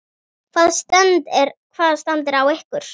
Hvaða stand er á ykkur?